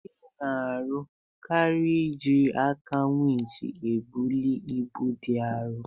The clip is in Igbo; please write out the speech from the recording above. Ndị na-arụ kranụ jiri aka winch ebuli ibu dị arọ.